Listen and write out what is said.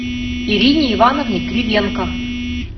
ирине ивановне кривенко